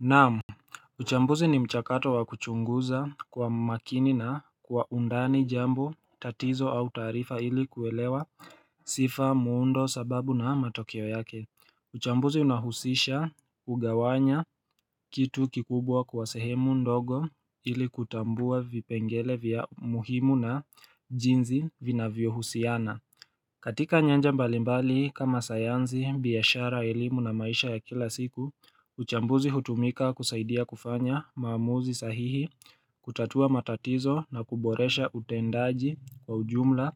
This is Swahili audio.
Naam, uchambuzi ni mchakato wa kuchunguza kwa makini na kwa undani jambo tatizo au tarifa ili kuelewa sifa muundo sababu na matokeo yake. Uchambuzi unahusisha ugawanya kitu kikubwa kwa sehemu ndogo ili kutambua vipengele vya muhimu na jinzi vina vyo husiana. Katika nyanja mbalimbali kama sayanzi, biashara elimu na maisha ya kila siku, uchambuzi hutumika kusaidia kufanya maamuzi sahihi kutatua matatizo na kuboresha utendaji kwa ujumla.